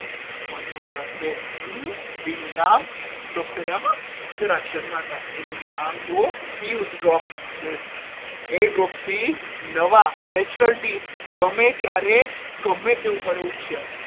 મનમોહનદાસ કહે હમ તેનું નામ doctor જરા શર્માતા નામ તો પિયુષ job છે એ jokes થી નવા natural teeth ગમે ત્યારે ગમે તે ઉંમરે ઉગશે.